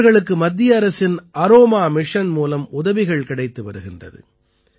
இவர்களுக்கு மத்திய அரசின் அரோமா மிஷன் மூலம் உதவிகள் கிடைத்து வருகின்றது